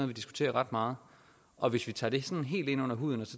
vi diskuterer ret meget og hvis vi tager det sådan helt ind under huden og